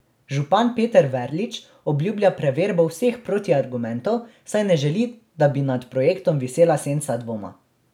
Župan Peter Verlič obljublja preverbo vseh protiargumentov, saj ne želi, da bi nad projektom visela senca dvoma.